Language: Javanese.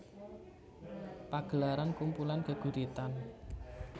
Pagelaran kumpulan geguritan